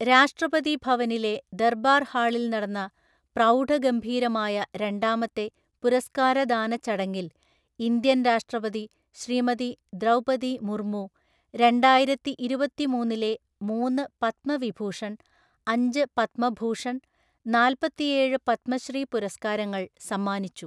രാഷ്ട്രപതി ഭവനിലെ ദര്‍ബാര്‍ ഹാളില്‍ നടന്ന പ്രൗഡഗംഭീരമായ രണ്ടാമത്തെ പുരസ്കാരദാന ചടങ്ങില്‍ ഇന്ത്യന്‍ രാഷ്ട്രപതി ശ്രീമതി ദ്രൗപതി മുര്മു രണ്ടായിരത്തിഇരുപത്തിമൂന്നിലെ മൂന്ന് പദ്മവിഭൂഷണ്‍, അഞ്ച് പദ്മഭൂഷണ്‍, നാല്പ്പത്തിയേഴ് പദ്മശ്രീ പുരസ്കാരങ്ങള്‍ സമ്മാനിച്ചു.